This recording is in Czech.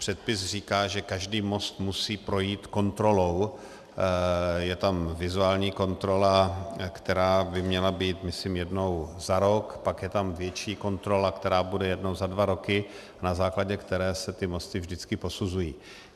Předpis říká, že každý most musí projít kontrolou, je tam vizuální kontrola, která by měla být myslím jednou za rok, pak je tam větší kontrola, která bude jednou za dva roky, na základě které se ty mosty vždycky posuzují.